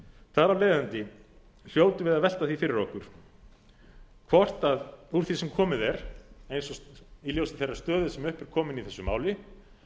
af leiðandi hljótum við að velta því fyrir okkur hvort úr því sem komið er í ljósi þeirrar stöðu sem upp er komin í þessu máli